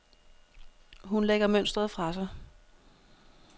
Hun lægger mønstret fra sig.